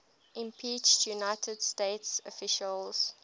impeached united states officials